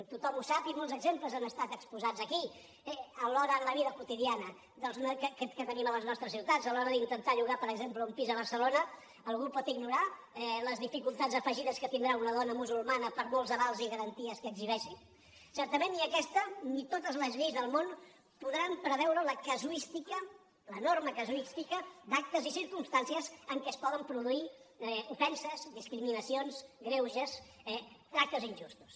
tothom ho sap i molts exemples han estat exposats aquí en la vida quotidiana que tenim a les nostres ciutats a l’hora d’intentar llogar per exemple un pis a barcelona algú pot ignorar les dificultats afegides que tindrà una dona musulmana per molts avals i garanties que exhibeixi certament ni aquesta ni totes les lleis del món podran preveure la casuística l’enorme casuística d’actes i circumstàncies en què es poden produir ofenses discriminacions greuges eh tractes injustos